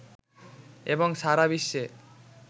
এবং সারা বিশ্বের